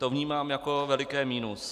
To vnímám jako veliké minus.